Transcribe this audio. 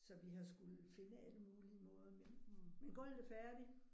Så vi har skullet finde alle mulige måder men men gulvet er færdigt